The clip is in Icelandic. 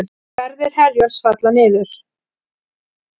Ferðir Herjólfs falla niður